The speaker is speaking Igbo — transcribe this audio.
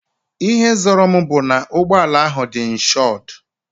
Ihe zoro m bu ná ụgbọala ahụ dị inshodu